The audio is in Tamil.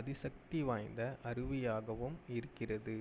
அதிசக்தி வாய்ந்த அருவியாகவும் இருக்கிறது